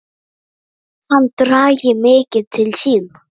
Hann dragi mikið til sín.